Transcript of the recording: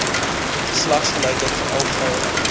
geslagsgelykheid veral vroueregte